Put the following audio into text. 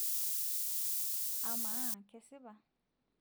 amaa kesipa?